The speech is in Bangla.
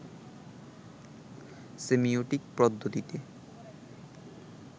সেমিওটিক পদ্ধতিতে